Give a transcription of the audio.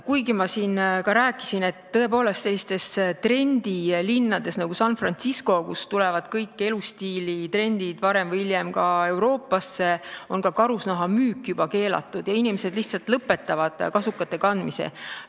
Kuigi ma siin rääkisin, et sellistes trendilinnades nagu San Francisco, kust kõik elustiilitrendid jõuavad varem või hiljem ka Euroopasse, on karusnaha müük juba keelatud ja inimesed lihtsalt lõpetavad kasukate kandmise.